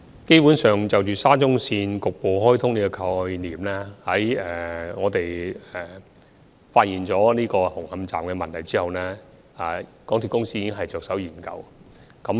基本上，就沙中線局部開通的概念，在發現了紅磡站的問題之後，港鐵公司已經着手研究。